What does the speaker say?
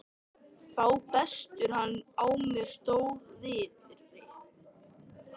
Þá brestur hann á með stór- viðri.